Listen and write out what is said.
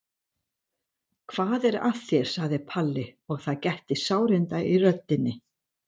Hvað er að þér? sagði Palli og það gætti sárinda í röddinni.